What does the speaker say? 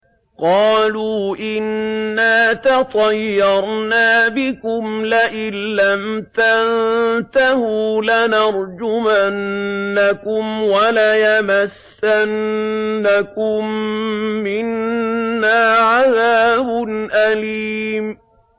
قَالُوا إِنَّا تَطَيَّرْنَا بِكُمْ ۖ لَئِن لَّمْ تَنتَهُوا لَنَرْجُمَنَّكُمْ وَلَيَمَسَّنَّكُم مِّنَّا عَذَابٌ أَلِيمٌ